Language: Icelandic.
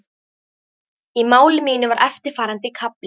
Í máli mínu var eftirfarandi kafli